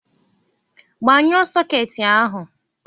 Gbnyuo sọkeeti ahụ!